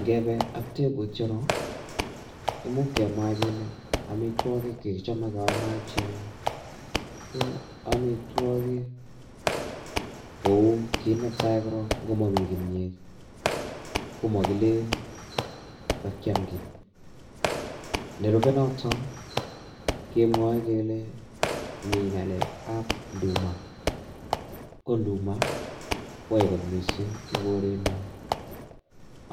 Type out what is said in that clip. Ngebe ak tebutyonon imuch kemwa kele amitwogik chekichame keame achek, ko amitwogik kou kit netai korok, ko ngomami kimyet komakilen kakiam ki. Nerube noto kemwae kele mi ngalekab nduma. Ko nduma kwae kot mising eng linyo